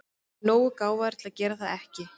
Hann er nógu gáfaður til að gera það ekki.